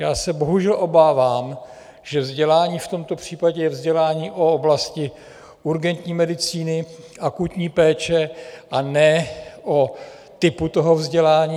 Já se bohužel obávám, že vzdělání v tomto případě je vzdělání o oblasti urgentní medicíny, akutní péče, a ne o typu toho vzdělání.